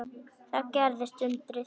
Þá gerðist undrið.